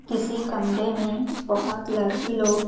किसी कमरे में बहुत लड़की लोग --